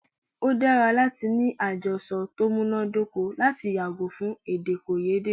O dára láti ní àjọsọ ti o múná dóko lati yàgò fún èdèkòyédè.